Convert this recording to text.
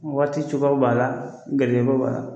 Waaticogoyaw b'a la gɛrjɛgɛko b'a la.